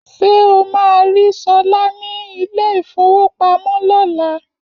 Ṣé o máa rí Sọlá ní ilé ìfówopamọ́ lọ́la?